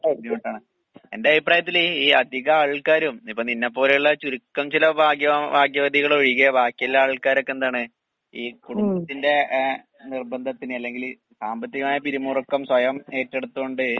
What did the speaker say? ബുദ്ധിമുട്ടാണ്. എന്റെ അഭിപ്രായത്തില് ഈ അധികാൾക്കാരും ഇപ്പ നിന്നെപ്പോലെയുള്ള ചുരുക്കം ചില ഭാഗ്യവാൻ ഭാഗ്യവതികളൊഴികെ ബാക്കിയുള്ള ആൾക്കാരൊക്കെന്താണ് ഈ കുടുംബത്തിന്റെ ഏഹ് നിർബന്ധത്തിന് അല്ലെങ്കില് സാമ്പത്തികമായ പിരിമുറുക്കം സ്വയം ഏറ്റെടുത്തുകൊണ്ട്